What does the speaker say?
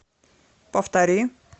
повтори